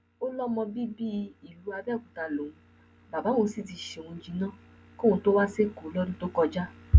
ó lọmọ bíbí ìlú abẹòkúta lòun bàbá òun sì ti ṣe òun jìnnà kóun tó wá sẹkọọ lọdún tó kọjá